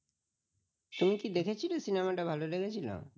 তুমি কি দেখেছিলে cinema টা ভালো লেগেছিল ?